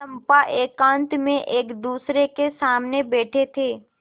चंपा एकांत में एकदूसरे के सामने बैठे थे